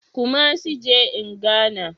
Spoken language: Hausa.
Kumasi je in Ghana